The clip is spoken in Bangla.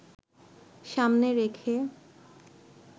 সামনে রেখে